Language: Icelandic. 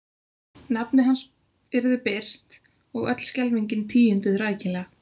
Nafnið hans yrði birt og öll skelfingin tíunduð rækilega.